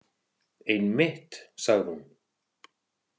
Einmitt, sagði hún.